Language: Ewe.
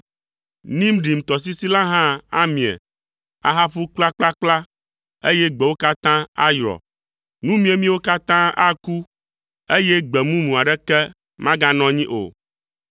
Nimrim tɔsisi la hã amie, ahaƒu kplakplakpla, eye gbewo katã ayrɔ; nu miemiewo katã aku, eye gbe mumu aɖeke maganɔ anyi o.